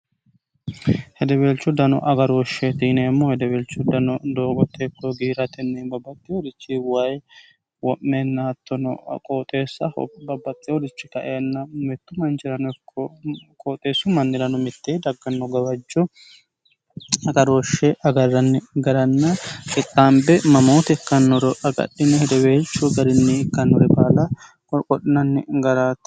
hedebeelchu dano agarooshshe tiineemmo hedeweelchu dano doogo teekko giiratenni babbaxxi horichi wayi wo'meennaattono qooxeessa babbaxxi horichi kaenna mittu manjirano qooxeessu mannirano mitte dagganno gawajcu agarooshshe agarranni garanna qixxaambi mamooti ikkannuro agadhine hedeweelchu garinni ikkannore baala qolqo'nanni garaatto